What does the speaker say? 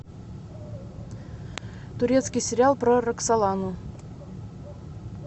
турецкий сериал про роксолану